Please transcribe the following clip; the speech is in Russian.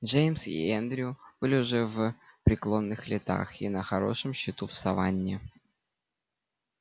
джеймс и эндрю были уже в преклонных летах и на хорошем счету в саванне